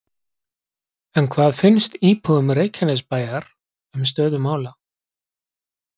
En hvað finnst íbúum Reykjanesbæjar um stöðu mála?